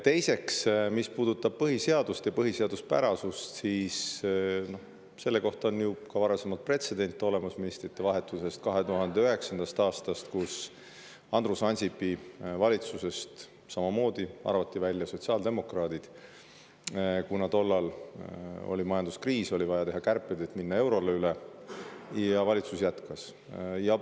Teiseks, mis puudutab põhiseadust ja põhiseaduspärasust, siis selle kohta on olemas ju ka varasem pretsedent 2009. aastast, kui Andrus Ansipi valitsusest arvati samamoodi välja sotsiaaldemokraadid, kuna tollal oli majanduskriis, oli vaja teha kärpeid, et üle minna eurole, ja valitsus jätkas.